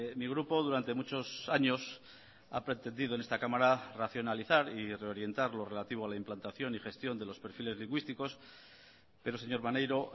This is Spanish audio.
mi grupo durante muchos años ha pretendido en esta cámara racionalizar y reorientar lo relativo a la implantación y gestión de los perfiles lingüísticos pero señor maneiro